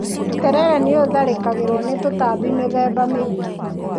Terere nĩ ũtharĩkagĩrwo nĩ tũtambi mĩthemba mĩingi.